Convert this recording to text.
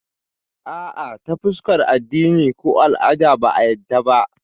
Ah ah, ta fuskar addini ko al'ada ba a yadda ba